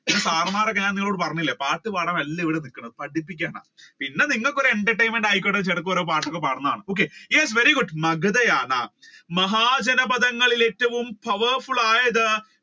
Sir മാരൊക്കെ ഞാൻ നിന്നോട് പറഞ്ഞില്ലേ പാട്ട് പാടാൻ അല്ല ഇവിടെ നിക്കുന്നത് പഠിപ്പിക്കാനാ നിങ്ങൾക്ക് ഒരു entertainment ആയിക്കോട്ടെ എന്ന് ചിലപ്പോ ഒരു പാട്ട് ഒക്കെ പാടുന്നതാണ് okay yes very good Magadha ആണ് മഹാജനപഥങ്ങളിൽ ഏറ്റവും poweful ആയത്